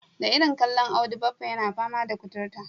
Da irin kallon Audu baffa yana fama da kuturta.